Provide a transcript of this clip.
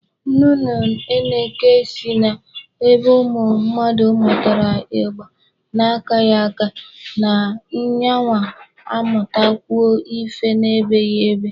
Nnụnụ eneke sị na ebe ụmụ mmadụ mụtara igba na-akaghị aka, na yanwa amụtakwugo ife na-ebeghị ebe.